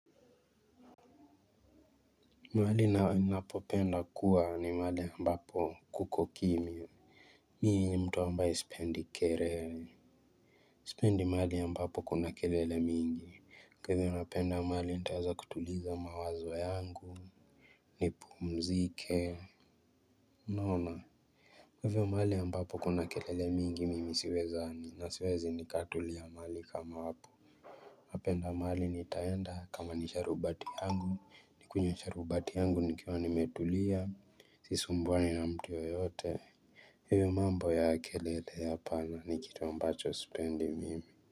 Mahali napopenda kuwa ni mahali ambapo kuko kimya. Mimi ni mtu ambaye sipendi kelele sipendi mahali ambapo kuna kelele mingi kwa hivyo napenda mahali nitaweza kutuliza mawazo yangu, nipumzike. Unaona. Kwa hivyo mahali ambapo kuna kile mingi, mimi siwezani na siwezi nikatulia mahali kama hapo. Napenda mahali nitaenda kama ni sharubati yangu nikunywe sharubati yangu nikiwa nimetulia. Sisumbuwani na mtu yeyote, hivyo mambo ya kelele ya pahali ni kitu ambacho sipendi mimi.